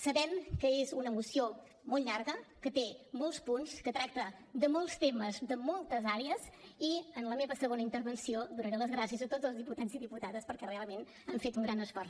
sabem que és una moció molt llarga que té molts punts que tracta de molts temes de moltes àrees i en la meva segona intervenció donaré les gràcies a tots els diputats i diputades perquè realment han fet un gran esforç